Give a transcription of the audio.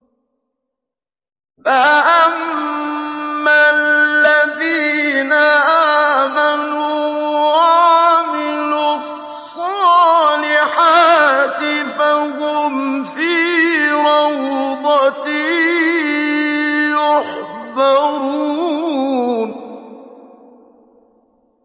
فَأَمَّا الَّذِينَ آمَنُوا وَعَمِلُوا الصَّالِحَاتِ فَهُمْ فِي رَوْضَةٍ يُحْبَرُونَ